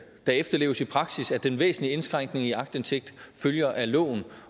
der efterleves i praksis at den væsentlige indskrænkning i aktindsigt følger af loven